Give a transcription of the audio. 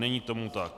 Není tomu tak.